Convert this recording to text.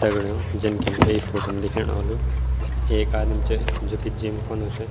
दगड़ियों जन की हमथे यी फोटो म दिखेणु ह्वोलु एक आदिम च जू की जिम कनु च।